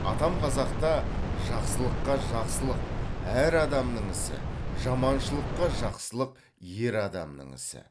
атам қазақта жақсылыққа жақсылық әр адамның ісі жаманшылыққа жақсылық ер адамның ісі